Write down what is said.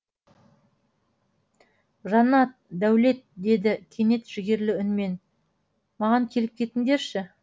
жаннат дәулет деді кенет жігерлі үнмен маған келіп кетіңдерші